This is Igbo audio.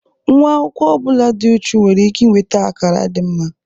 Nnwa akwụkwọ ọ bụla dị uchu nwere ike inweta akara dị mma.